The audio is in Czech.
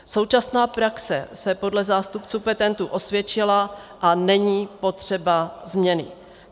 Současná praxe se podle zástupců petentů osvědčila a není potřeba změny.